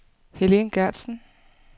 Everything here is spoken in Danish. Helen Gertsen